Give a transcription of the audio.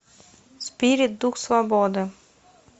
спирит дух свободы